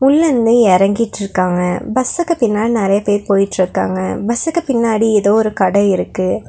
பஸ்லருந்து எறங்கிட்ருக்காங்க பஸ்சுக்கு பின்னாடி நெறைய பேர் போயிட்ருக்காங்க பஸ்சுக்கு பின்னாடி ஏதோ ஒரு கடை இருக்கு.